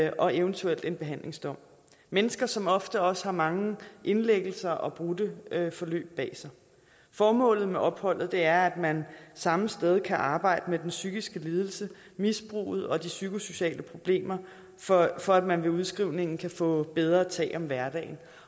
og eventuelt en behandlingsdom mennesker som ofte også har mange indlæggelser og brudte forløb bag sig formålet med opholdet er at man samme sted kan arbejde med den psykiske lidelse misbruget og de psykosociale problemer for for at man ved udskrivningen kan få bedre tag om hverdagen